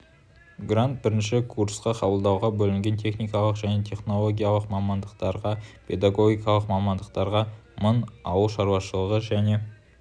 грант бірінші курсқа қабылдауға бөлінген техникалық және технологиялық мамандықтарға педагогикалық мамандықтарға мың ауыл шаруашылығы және